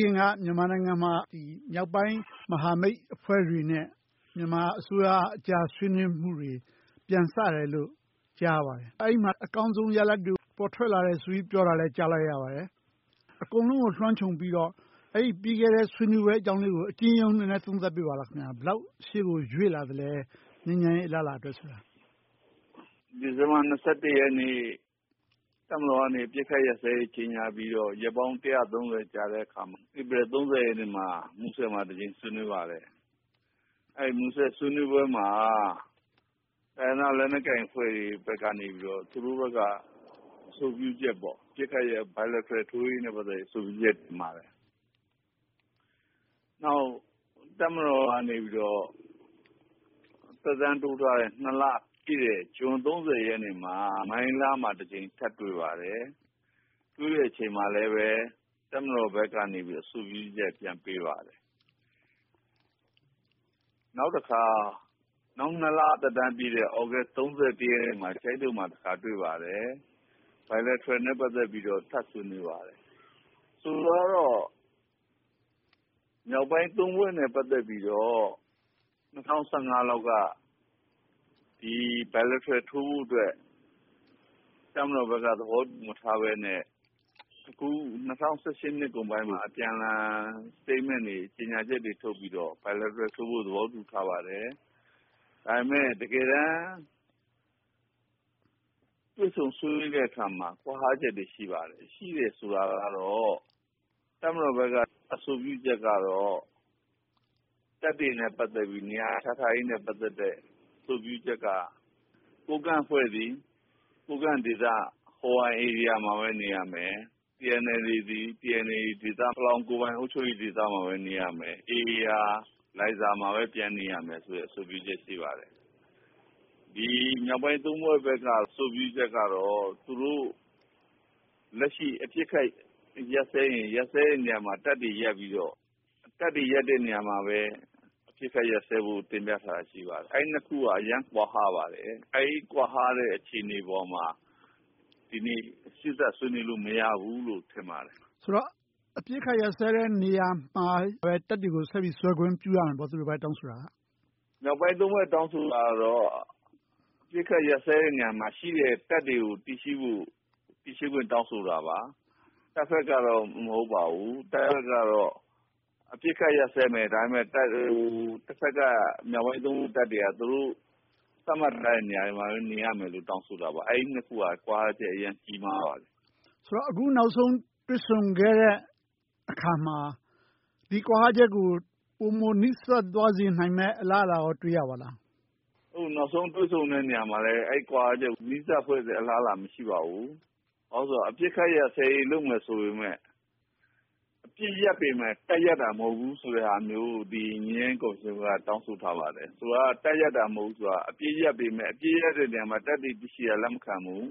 ခင်က မြန်မာနိုင်ငံမှာ မြောက်ပိုင်းမဟာမိတ်အဖွဲ့တွေနဲ့ အစိုးရအကြား ဆွေးနွေးမှုတွေ ပြန်စတယ်လို့ ကြားရပါတယ်။ အဲဒီမှာ အကောင်းဆုံးရလဒ်တွေ ပေါ်ထွက်လာတယ်လို့လည်း ကြားသိရပါတယ်။ အကုန်လုံးကို လွှမ်းခြုံပြီးတော့ အဲဒီပြီးခဲ့တဲ့ ဆွေးနွေးပွဲလေးအကြောင်းကို အကျဉ်းရုံးလေး နည်းနည်းသုံးသပ်ပေးပါလား။ ဘယ်လောက် ရှေ့ကိုရွေ့လာလဲ၊ ငြိမ်းချမ်းရေး အလားအလာအတွက်ဆိုတာ။ ဖြေ ။ ။ ဒီဇင်ဘာ ရက်နေ့မှာ တပ်မတော်ကနေ အပစ်အခတ် ရပ်စဲရေးကို ကြေညာပြီးတော့ ရက်ပေါင်း ကြာတဲ့အခါ ဧပြီ ရက်နေ့မှာ မူဆယ်မှာ တစ်ကြိမ် ဆွေးနွေးပါတယ်။ အဲဒီမူဆယ်ဆွေးနွေးပွဲမှာ တိုင်းရင်းသားလက်နက်ကိုင်အဖွဲ့တွေဘက်က သူတို့ဘက်က အဆိုပြုချက် အပစ်အခတ်ရပ်စဲရေး bilateral ထိုးရေး အဆိုပြုချက် တင်ပါတယ်။ နောက် တပ်မတော်ကနေ သက်တမ်းတိုးထားတဲ့ နှစ်လပြည့်တဲ့ ဇွန် ရက်နေ့မှ မိုင်းလားမှာတစ်ကြိမ် ထပ်တွေ့ပါတယ်။ တွေ့တဲ့အချိန်မှာလည်း တပ်မတော်ဘက်ကနေ အဆိုပြုချက် ပြန်ပေးပါတယ်။ နေုာက်တခါ နောက်သက်တမ်းပြည့်တဲ့ နှစ်လသက်တမ်းပြည့်တဲ့ သြဂုတ် ရက်နေ့မှာ ကျိုင်းတုံမှာ တွေ့ပါတယ်။ bilateral နဲ့ ပတ်သက်ပြီး ထပ်ဆွေးနွေးပါတယ်။ ဆိုလိုတာကတော့ မြောက်ပိုင်း ဖွဲ့နဲ့ ပတ်သက်ပြီးတော့ ၂၀၁၅ လောက်က bilateral ထိုးဖို့အတွက် တပ်မတော်ဘက်က သဘောမတူထားဘဲနဲ့ အခု ၂၀၁၈ ကုန်ပိုင်းမှာ အပြန်အလှန် ကြေညာချက်တွေထုတ်ပြီးတော့ bilateral ထိုးဖို့ သဘောတူထားပါတယ်။ ဒါပေမဲ့ တကယ်တမ်း တွေ့ဆုံဆွေးနွေးတဲ့အခါမှာ ကွာဟချက်တွေ ရှိပါတယ်။ ရှိတယ်ဆိုတာကတော့ တပ်မတော်ဘက်က အဆိုပြုချက်က တပ်တွေနဲ့ ပတ်သက်ပြီး နေရာချထားရေးနဲ့ ပတ်သက်တဲ့ အဆိုပြုချက်က ကိုးကန့်အဖွဲ့သည် ကိုးကန့်ဒေသမှာပဲ နေရမယ်။ TNLA သည် TNLA ပလောင်းကိုယ်ပိုင်အုပ်ချုပ်ရေးဒေသမှာပဲ နေရမယ်။ AA က လိုင်းဇာမှာပဲ ပြန်နေရမယ်ဆိုတဲ့ အဆိုပြုချက် ရှိပါတယ်။ ဒီမြောက်ပိုင်း ဖွဲ့ဘက်က အဆိုပြုချက်ကတော့ သူတို့ လက်ရှိအပစ်အခတ် ရပ်စဲရင် ရပ်စဲတဲ့နေရာမှာ တပ်တွေရပ်ပြီးတော့၊ တပ်တွေရပ်တဲ့နေရာမှာပဲ အပစ်အခတ်ရပ်စဲဖို့ တင်ပြထားတာ ရှိပါတယ်။ အဲဒီနှစ်ခုက အရမ်းကွာဟပါတယ်။ အဲဒီကွာဟတဲ့ အခြေအနေပေါ်မှာ ဒီနေ့စေ့စပ်ဆွေးနွေးလို့ မရဘူးလို့ ထင်ပါတယ်။ မေး ။ ။ ဆိုတော့ အပစ်အခတ်ရပ်စဲတဲ့နေရာမှာ တပ်တွေကို ဆက်စွဲခွင့် ပြုရမယ်လို့ ဝိုင်းပြီးတောင်းဆိုတာပေါ့။ ဖြေ ။ ။ မြောက်ပိုင်း ဖွဲ့ တောင်းဆိုတာကတော့ အပစ်အခတ်ရပ်စဲတဲ့ နေရာမှာရှိတဲ့ တပ်တွေကို တည်ရှိဖို့ တောင်းဆိုတာပါ။ တပ်ဘက်ကတော့ မဟုတ်ပါဘူး။ အပစ်အခတ်ရပ်စဲမယ်။ ဒါပေမဲ့ တဘက်က မြောက်ပိုင်း ဖွဲ့က တပ်တွေက သူတို့ သတ်မှတ်ထားတဲ့ နေရာတွေမှာပဲ နေရာမယ်လို့ တောင်းဆိုတာပါ။ အဲဒီနှစ်ခုက ကွာဟချက် အရမ်းကြီးမားပါတယ်။ မေး ။ ။ အခုနောက်ဆုံး တွေ့ဆုံခဲ့တဲ့အခါမှာ ဒီကွာဟချက်ကို ပိုမိုနီးစပ်သွားစေနိုင်မယ့် အလားအလာကော တွေ့ရပါလား။ ဖြေ ။ ။ အခုနောက်ဆုံး တွေ့ဆုံတဲ့နေရာမှာလည်း အဲဒီကွာဟချက်ကို နီးစပ်လာတဲ့ အလားအလာ မရှိပါဘူး။ ဘာဖြစ်လို့လဲဆိုတော့ အပစ်အခတ်ရပ်စဲရေး လုပ်မယ်ဆိုပေမယ့် အပစ်ရပ်ပေမယ့်၊ တပ်ရပ်တာ မဟုတ်ဘူးဆိုတဲ့ဟာမျိုး ငြိမ်းချမ်းရေးကော်မရှင်က တောင်းဆိုထားပါတယ်။ ဆိုလိုတာက တပ်ရပ်တာ မဟုတ်ဘူးဆိုတာ အပစ်ရပ်ပေမယ့် အပစ်ရပ်တဲ့နေရာမှာ တပ်တွေရှိတာ လက်မခံဘူး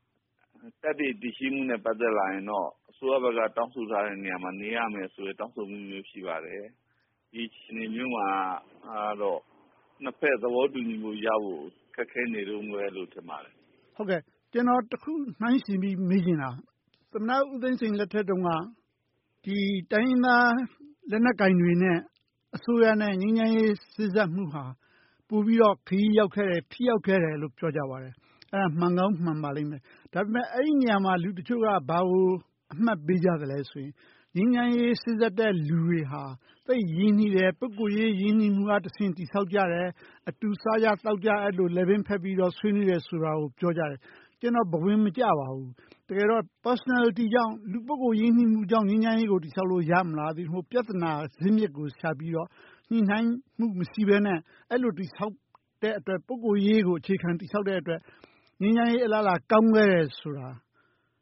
။ တပ်တွေတည်ရှိမှုနဲ့ ပတ်သက်လာရင် အစိုးရဘက်က တောင်းဆိုထားတဲ့နေရာမှာ နေရမယ်ဆိုတဲ့ တောင်းဆိုမှုမျိုး ရှိပါတယ်။ ဒီအခြေအနေမျိုးမှာတော့ နှစ်ဘက်သဘောတူညီမှုရဖို့ ခက်ခဲနေတုန်းပဲလို့ ထင်ပါတယ်။ မေး ။ ။ ကျနော်တစ်ခု နှိုင်းယှဉ်ပြီး မေးချင်တာက သမ္မတဦးသိန်းစိန်လက်ထက်တုန်းက တိုင်းရင်းသားလက်နက်ကိုင်တွေနဲ့ အစိုးရနဲ့ ငြိမ်းချမ်းရေးစေ့စပ်မှုဟာ ပိုပြီးတော့ ခရီးရောက်ခဲ့တယ်၊ ထိရောက်ခဲ့တယ်လို့ ပြောကြပါတယ်။ အဲဒါ မှန်ကောင်းမှန်ပါလိမ့်မယ်။ ဒါပေမဲ့ အဲဒီနေရာမှာ လူတချို့က ဘာကို အမှတ်ပေးကြသလဲဆိုရင် ငြိမ်းချမ်းရေးစေ့စပ်တဲ့လူတွေဟာ သိပ်ရင်းနှီးတယ်။ ပုဂ္ဂိုလ်ရေး ရင်းနှီးမှုကတဆင့် တည်ဆောက်ကြတယ်။ အတူစားကြ၊ သောက်ကြ အဲဒီလို လည်ပင်းဖက်ပြီး ဆွေးနွေးကြတယ်ဆိုတာကို ပြောကြတယ်။ ကျနော် ဘဝင်မကျပါဘူး။ တကယ်တော့ လူပုဂ္ဂိုလ်ကြောင့် ပိုရင်းနှီးလို့ ငြိမ်းချမ်းရေးကို တည်ဆောက်လို့ ရမလား။ သို့တည်းမဟုတ် ပြဿနာဇာစ်မြစ်ကို ရှာပြီးတော့ ညှိနှိုင်းမှု မရှိဘဲနဲ့ အဲဒီလို တည်ဆောက်တဲ့အတွက် ပုဂ္ဂိုလ်ရေးကို အခြေခံတည်ဆောက်တဲ့အတွက် ငြိမ်းချမ်းရေးအလားအလာ ကောင်းခဲ့တယ်ဆိုတာကို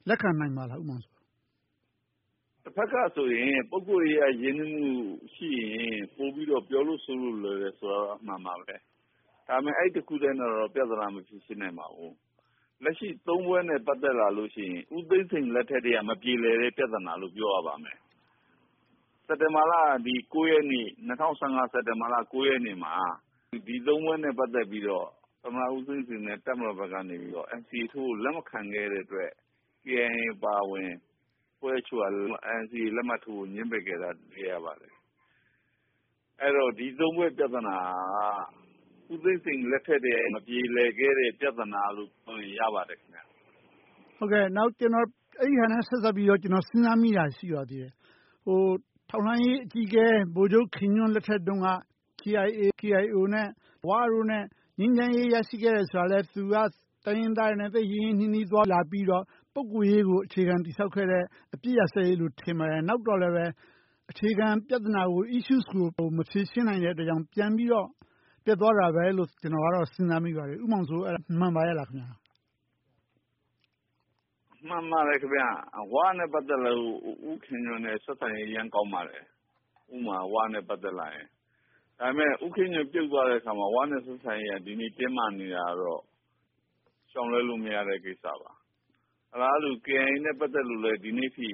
လက်ခံနိုင်ပါသလား။ ဖြေ ။ ။ တဘက်ကဆိုရင် ပုဂ္ဂိုလ်ရေး ရင်းနှီးမှုရှိရင် ပိုပြီးတော့ ပြောလို့ဆိုလို့ လွယ်ကူတယ်ဆိုတာတော့ အမှန်ပါပဲ။ ဒါပေမဲ့ အဲဒီတစ်ခုတည်းနဲ့တော့ ပြဿနာကို ဖြေရှင်းလို့ မရနိုင်ပါဘူး။ လက်ရှိ ဖွဲ့နဲ့ ပတ်သက်လာလို့ရှိရင် ဦးသိန်းစိန်လက်ထက်ကတည်းက မပြေလည်တဲ့ ပြဿနာလို့ ပြောရပါလိမ့်မယ်။ စက်တင်ဘာလ ရက်နေ့ ၂၀၁၅ မှာ ဒီ ဖွဲ့နဲ့ ပတ်သက်ပြီးတော့ သမ္မတဦးသိန်းစိန်နဲ့ တပ်မတော်ဘက်ကနေ NCA ထိုးဖို့ လက်မခံခဲ့တဲ့အတွက် ကေအိုင်အေအပါအဝင် အဖွဲ့တချို့က NCA ထိုးဖို့ ငြင်းပယ်ခဲ့တာကို တွေ့ရပါတယ်။ အဲဒီတော့ ဒီ ဖွဲ့ ပြဿနာက ဦးသိန်းစိန်လက်ထက်ကတည်းက မပြေလည်ခဲ့တဲ့ ပြဿနာလို့ပြောရင် ရပါတယ်။ မေး ။ ။ အဲဒါနဲ့ ဆက်စပ်ပြီးတော့ ကျနော် စဉ်းစားမိတာ ရှိပါတယ်။ ထောက်လှမ်းရေးအကြီးအကဲ ဗိုလ်ချုပ်ခင်ညွှန့်လက်ထက်တုန်းက ကေအိုင်အေ၊ ကေအိုင်အိုနဲ့ ဝ တို့နဲ့ ငြိမ်းချမ်းရေးရရှိခဲ့တယ်ဆိုတာ သူကတိုင်းရင်းသားတွေနဲ့ သိပ်ရင်းရင်းနှီးနှီး သွားလာပြီးတော့ ပုဂ္ဂိုလ်ရေးကို အခြေခံ တည်ဆောက်ခဲ့တဲ့ အပစ်အခတ်ရပ်စဲရေးလို့ ထင်ပါတယ်။ နောက်တော့လဲ အခြေခံပြဿနာကို မဖြေရှင်းနိုင်တဲ့အတွက် ပြန်ပြီးတော့ ပျက်သွားတယ်လို့ စဉ်းစားမိပါတယ်။ ဦးမောင်မောင်စိုး.. အဲဒါမှန်ပါရဲ့လား။ ဖြေ ။ ။ မှန်ပါတယ်။ ဝနဲ့ ပတ်သက်လို့ ဦးခင်ညွှန့်နဲ့ ဆက်ဆံရေး အရမ်းကောင်းပါတယ်။ ဒါပေမဲ့ ဦးခင်ညွှန့် ပြုတ်သွားတဲ့အခါမှာ ဝနဲ့ ဆက်ဆံရေးက ဒီနေ့တင်းမာနေတာတော့ ရှေုာင်လွှဲလို့မရတဲ့ ကိစ္စပါ။ အလားတူ ကေအိုင်အေနဲ့ ပတ်သက်လို့လည်း ဒီနေ့အထိ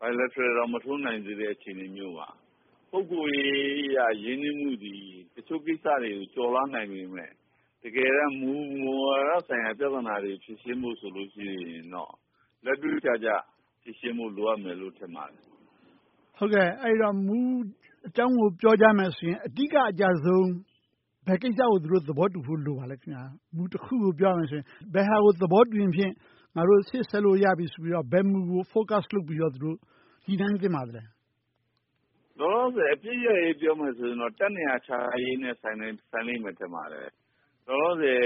bilateral တောင် မထိုးနိုင်သေးတဲ့ အခြေအနေမျိုးမှာ ပုဂ္ဂိုလ်ရေးအရ ရင်းနှီးမှုသည် တချို့ကိစ္စတွေကို ကျော်လွှားနိုင်ပေမယ့် တကယ်တမ်း မူဝါဒဆိုင်ရာ ပြဿနာတွေကို ဖြေရှင်းဖို့ဆိုရင်တော့ လက်တွေ့ကျကျ ဖြေရှင်းဖို့ လိုအပ်မယ်လို့ ထင်ပါတယ်။ မေး ။ ။ မူအကြောင်းကို ပြောကြမယ်ဆိုရင် အဓိကအကျဆုံး ဘယ်ကိစ္စကို သူတို့သဘောတူဖို့ လိုပါသလဲ။ မူတစ်ခုကို ပြောမယ်ဆိုရင် ဘယ်ဟာကို သဘောတူရင်ဖြင့် ငါတို့ ရှေ့ဆက်လို့ရပြီလို့ ဘယ်မူကို Focus လုပ်ပြီးတော့ ညှိနှိုင်းသင့်ပါလဲ။ ဖြေ ။ ။ လောလောဆယ် အပစ်ရပ်ရေး ပြောမယ်ဆိုရင်တော့ တပ်နေရာ ချထားရေးနဲ့ ဆိုင်လိမ့်မယ် ထင်ပါတယ်။ လောလောဆယ်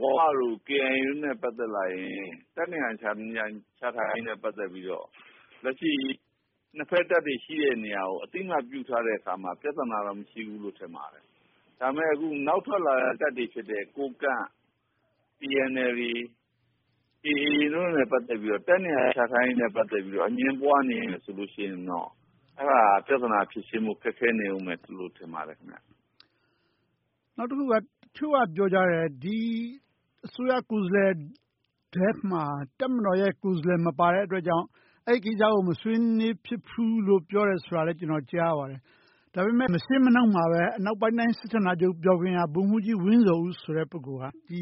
ဝ၊ ကေအိုင်အေတို့နဲ့ ပတ်သက်လာရင် တပ်နေရာချထားရေးနဲ့ ပတ်သက်ပြီးတော့ လက်ရှိနှစ်ဘက်တပ်တွေ ရှိတဲ့နေရာကို အသိအမှတ်ပြုထားတဲ့အခါမှာ ပြဿနာတော့ မရှိဘူးလို့ ထင်ပါတယ်။ ဒါပေမဲ့ နောက်ထွက်လာတဲ့ တပ်တွေဖြစ်တဲ့ ကိုးကန့်၊ TNLA, AA တို့နဲ့ ပတ်သက်ပြီးတော့ တပ်နေရာချထားရေးနဲ့ ပတ်သက်ပြီးတော့ အငြင်းပွားနေမယ်ဆိုရင်တော့ အဲဒါက ပြဿနာဖြေရှင်းဖို့ ခက်ခဲနေအုံးမယ်လို့ ထင်ပါတယ်။ မေး ။ ။ နောက်တစ်ခုက တချို့က ပြောကြတယ်။ ဒီအစိုးရကိုယ်စားလှယ်ထဲမှာ တပ်မတော်ရဲ့ကိုယ်စားလှယ် မပါတဲ့အတွက်ကြောင့် အဲဒီကိစ္စကို မဆွေးနွေးဖြစ်ဘူးလို့ ပြောတယ်ဆိုတာလည်း ကျနော် ကြားမိပါတယ်။ ဒါပေမဲ့ မရှေ့မနှောင်းမှာပဲ မြောက်ပိုင်းတိုင်း စစ်ဌာနချုပ် ဗိုလ်မှူးကြီးဝင်းဇော်ဦးဆိုတဲ့ ပုဂ္ဂိုလ်က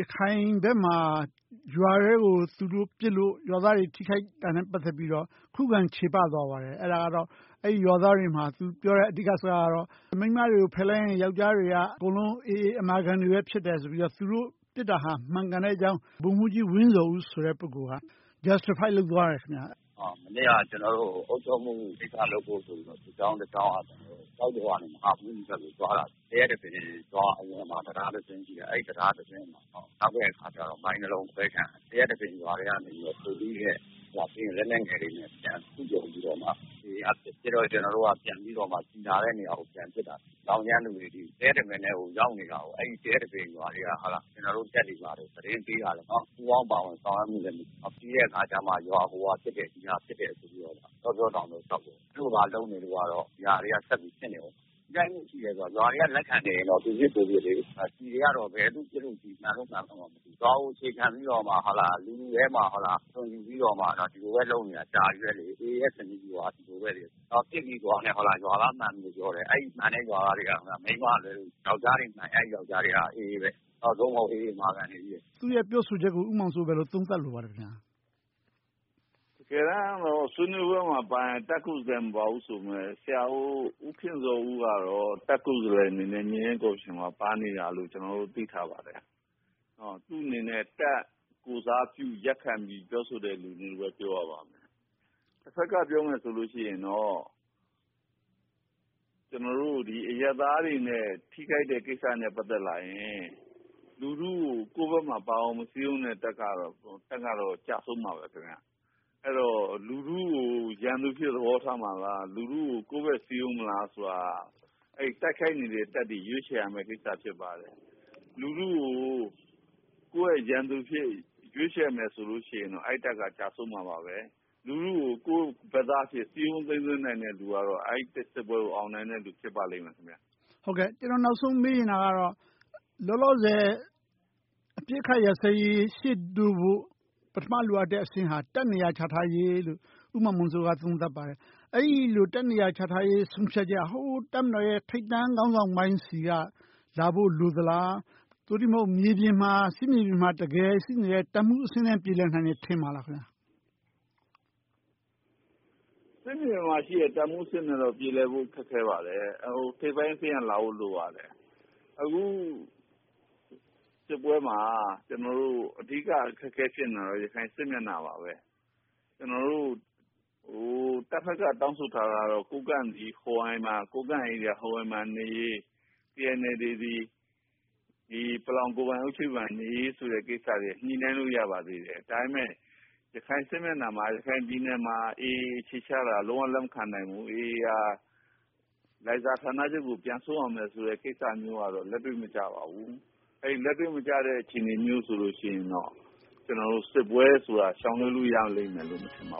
ရခိုင်ဘက်မှာ ရွာထဲကို သူတို့ပစ်လို့ ရွာသားတွေ ထိခိုက်တာနဲ့ ပတ်သက်ပြီးတော့ ခုခံချေပသွားပါတယ်။ အဲဒီရွာသားတွေမှာ သူပြောတဲ့ အဓိကစကားကတော့ မိန်းမတွေကိုဖယ်လိုက်ရင် ယောကျ်ားတွေက အကုန်လုံး အေအေ အမာခံတွေ ဖြစ်တယ်ဆိုပြီး၊ သူတို့ပစ်တယ်ဆိုတာ မှန်ကန်ကြောင်း ဗိုလ်မှူးကြီးဝင်းဇော်ဦးက justify လုပ်သွားတယ်။ ဗိုလ်မှူးကြီးဝင်းဇော်ဦး - “မနေ့က ကျနော်တို့ အုပ်ချုပ်မှုကိစ္စလုပ်ဖို့ဆိုပြီး… ဘက်ကိုသွားတာ…အဝင်မှာ တံတားတစင်းရှိတယ်။ အဲဒီကိုရောက်တဲ့အခါမှာ မိုင်းတစ်လုံး အခွဲခံရတယ်။…ရွာထဲကနေ လက်နက်ငယ်တွေနဲ့ ပစ်တဲ့အခါကြတော့ ကျနော်တို့က ပြန်ပြီးတော့ ပစ်တဲ့နေရာကို ပြန်ပစ်တာ သောင်းကျန်းသူတွေ…တပင်ထဲကို ရောက်နေတာကို အဲဒီရွာထဲက ကျနော်တို့တပ်တွေကို သတင်းပေးတာ၊ ပူးပေါင်းပါဝင်ဆောင်ရွက်မှုလည်း မရှိဘူး။ ပြီးတဲ့အခါကြမှာ ရွာကို ဟိုဟာဖြစ်တယ်၊ ဒီဟာဖြစ်တယ်ဆိုပြီး တောပြောတောင်ပြော လျှောက်ပြောတယ်။ အဲဒီလိုလုပ်နေလို့ကတော့ ဒါတွေက ဆက်ဖြစ်နေအုံးမှာ။ ရွာတွေကိ လက်ခံနေရင်တော့ သူပစ်ကိုယ်ပစ်ဖြစ်ပြီး ကျည်းတွေကတော့ ဘယ်သူပစ်လို့ မှန်လို့မှန်မယ်ဆိုတာ မသိဘူး။ ရွာကိုအခြေခံပြီး လူတွေထဲမှာနေပြီးတော့ ဒီလိုပဲလုပ်နေတာ ကြာပြီလေ။ အေအေရဲ့ စစ်ရေးက ဒီလိုပဲ။ ပစ်မိသွားရင် ရွာသားမှန်တယ်လို့ပြောတယ်။ အဲဒီရွာသားတွေက မိန်းမကလွဲ၊ ယောကျ်ားတွေက အေအေ၊ အေအေ အမာခံတွေကြီးပဲ။” မေး ။ ။ သူ့ရဲ့ ပြောဆိုချက်ကို ဦးမောင်မောင်စိုး ဘယ်လိုသုံးသပ်လိုပါလဲ။ ဖြေ ။ ။ တကယ်တမ်းတော့ ဆွေးနွေးပွဲမှာပါရင် တပ်ခုမပါဘူးဆိုပေမယ့်… ဆရာဦးခင်ဇော်ဦးကတော့ တပ်ခုဆိုတဲ့… အနေနဲ့ ပါနေတယ်လို့ ကျနော်တို့ သိထားပါတယ်။ သူ့အနေနဲ့ တပ်ကိုယ်စားပြုရပ်ခံပြီး ပြောဆိုတဲ့လူလို့ပဲ ပြောရပါလိမ့်မယ်။ တဘက်က ပြောမယ်ဆိုရင်တော့ အရပ်သားတွေနဲ့ ထိခိုက်တာနဲ့ ပတ်သက်လာရင် လူထုကို ကိုယ့်ဘက်မှာပါအောင် မစည်းရုံးတဲ့ တပ်ကတော့ ကျဆုံးမှာပါ။ အဲဒီတော့ လူထုကို ရန်သူအဖြစ်သဘောထားမှာလား။ လူထုကို ကိုယ်ဘက်ပါအောင် စည်းရုံးမလားဆိုတာ အဲဒီတိုက်ခိုက်နေတဲ့ တပ်တွေ ရွေးချယ်ရမယ့်ကိစ္စ ဖြစ်ပါတယ်။ လူထုကို ကိုယ့်ရဲ့ရန်သူအဖြစ် ရွေးချယ်မယ်ဆိုရင်တော့ အဲဒီတပ်က ကျဆုံးမှာပါ။ လူထုကို ကိုယ့်ဘက်သားအဖြစ် စည်းရုံးသိမ်းသွင်းနိုင်တဲ့ လူကတော့ အဲဒီစစ်ပွဲကို အောင်နိုင်တဲ့လူ ဖြစ်ပါလိမ့်မယ်။ မေး ။ ။ နောက်ဆုံးမေးချင်တာကတော့ လောလောဆယ် အပစ်အခတ်ရပ်စဲရေး ရှေ့တိုးဖို့ ပထမလိုအပ်တဲ့ အဆင့်ဟာ တပ်နေရာ ချထားရေးလို့ ဦးမောင်မောင်စိုးက သုံးသပ်ပါတယ်။ အဲဒီလို တပ်နေရာချထားရေး ဆုံးဖြတ်ချက်က တပ်မတော်ရဲ့ ထိပ်တန်းခေါင်းဆောင်ပိုင်းဆီက လာဖို့လိုသလား။ သို့တည်းမဟုတ် မြေပြင်မှာ စစ်မြေပြင်မှာ တပ်မှူးအဆင့်နဲ့ ပြေလည်နိုင်မယ် ထင်ပါသလား။ ဖြေ ။ ။ စစ်မြေပြင်မှာရှိတဲ့ တပ်မှူးအဆင့်လောက်နဲ့တော့ ပြေလည်ဖို့ ခက်ခဲပါတယ်။ ထိပ်ပိုင်းအဆင့်ကလာဖို့ လိုပါတယ်။ အခုစစ်ပွဲမှာ အဓိကအခက်အခဲ ဖြစ်နေတာကတော့ ရခိုင်စစ်မျက်နှာပါပဲ။ တပ်ဘက်က တောင်းဆိုထားတာကတော့ ကိုးကန့်ပြည် ဟိုးဟန်မှာနေရေး၊ TNLA သည် ပလောင်းကိုယ်ပိုင်အုပ်ချုပ်ရေးမှာနေရေးတို့က ညှိနှိုင်းလို့ ရပါသေးတယ်။ ဒါပေမဲ့ ရခိုင်စစ်မျက်နှာမှာ ရခိုင်ပြည်နယ်မှာ အေအေ အခြေချတာကို လုံးဝလက်မခံနိုင်ဘူး။ အေအေ က လိုင်းဇာဌာနချုပ်ကို ပြန်ဆုတ်ရမယ်ဆိုတဲ့ ကိစ္စမျိုးကတော့ လက်တွေ့မကျပါဘူး။ အဲဒီလက်တွေ့မကျတဲ့ အခြေအနေမျိုး ဆိုရင်တော့ စစ်ပွဲဆိုတာ ရှောင်လွှဲလို့ ရလိမ့်မယ်လို့ မထင်ပါ